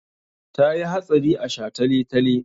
Ta yi hatsari a shataletale.